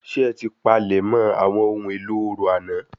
Ṣé ẹ ti palẹ̀ mọ àwọn ohun èlò orò àná